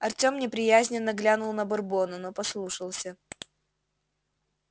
артём неприязненно глянул на бурбона но послушался